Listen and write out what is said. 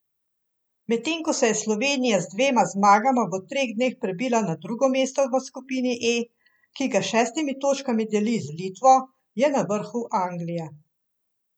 Medtem ko se je Slovenija z dvema zmagama v treh dneh prebila na drugo mesto v skupini E, ki ga s šestimi točkami deli z Litvo, je na vrhu Anglija.